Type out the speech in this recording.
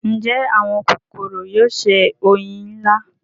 ǹjẹ́ àwọn kòkòrò yóò se oyin lílá.